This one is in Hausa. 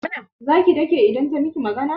Za ki dake idan ta miki magana?